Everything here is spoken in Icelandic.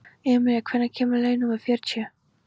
Emilía, hvenær kemur leið númer fjörutíu?